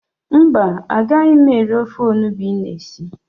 Mba, agaghị m eri ofe onubu ị na esi.